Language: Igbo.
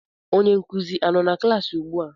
Onye nkuzi a nọ na klaasị ugbua?